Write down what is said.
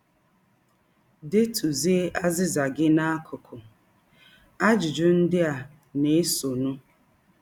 Detụzie azịza gị n’akụkụ ajụjụ ndị a na - esọnụ.